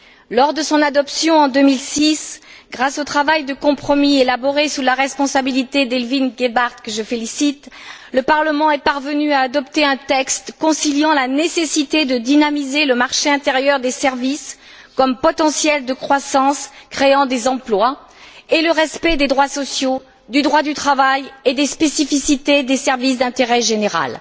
Lors de son adoption en 2006, grâce au travail de compromis élaboré sous la responsabilité d'Evelyne Gebhardt que je félicite, le Parlement est parvenu à adopter un texte conciliant la nécessité de dynamiser le marché intérieur des services comme potentiel de croissance créant des emplois et le respect des droits sociaux, du droit du travail et des spécificités des services d'intérêt général.